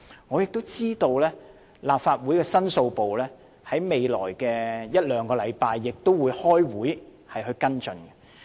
我亦知道立法會申訴部在未來一兩星期，亦會開會跟進。